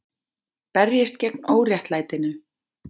Berjist gegn óréttlætinu